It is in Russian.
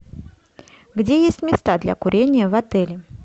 где есть места для курения в отеле